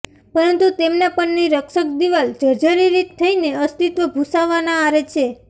પરંતુ તેમના પરની રક્ષક દિવાલ જર્જરીત થઈને અસ્તિત્વ ભૂંસાવાના આરે છે